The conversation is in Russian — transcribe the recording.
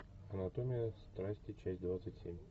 анатомия страсти часть двадцать семь